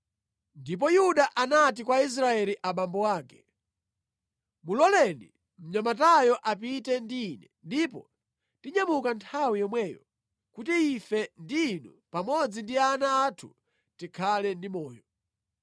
Ndipo Yuda anati kwa Israeli abambo ake, “Muloleni mnyamatayo apite ndi ine, ndipo tinyamuka nthawi yomweyo, kuti ife ndi inu pamodzi ndi ana athu tikhale ndi moyo.